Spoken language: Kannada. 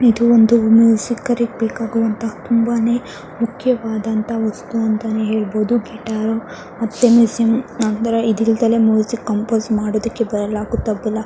ಇದು ಒಂದು ಮ್ಯೂಸಿಕರಿಗೆ ಬೇಕಾಗುವಂತಹ ತುಂಬಾನೆ ಮುಖ್ಯವಾದಂತಹ ವಸ್ತು ಅಂತನೆ ಹೇಳಬಹುದು ಗಿಟಾರು ಮತ್ತೆ ಮ್ಯೂಸಿಯಂ ಅಂದ್ರೆ ಇದಿಲ್ಲದೆ ಮ್ಯೂಸಿಕ್ ಕಂಪೋಸ್ ಮಾಡೋದಕ್ಕೆ ಬರಲ್ಲಾ ಗೊತ್ತಾಗುದಿಲ್ಲಾ.